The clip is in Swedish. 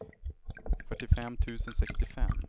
fyrtiofem tusen sextiofem